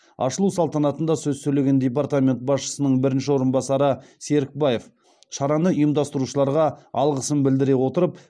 ашылу салтанатында сөз сөйлеген департамент басшысының бірінші орынбасары серікбаев шараны ұйымдастырушыларға алғысын білдіре отырып